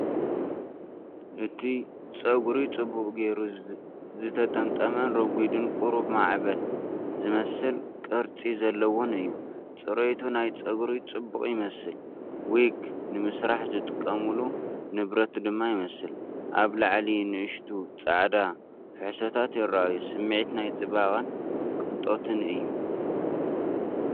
እቲ ጸጉሪ ጽቡቕ ጌሩ ዝተጠምጠመን ረጒድን ቁሩብ ማዕበል ዝመስል ቅርጺ ዘለዎን እዩ። ጽሬት ናይቲ ጸጉሪ ጽቡቕ ይመስል፡ ዊግ ንምስራሕ ዝጥቀሙሉ ንብረት ድማ ይመስል። ኣብ ላዕሊ ንኣሽቱ ጻዕዳ ፍሕሶታት ይረኣዩ። ስምዒት ናይ ጽባቐን ቅንጦትን እዩ።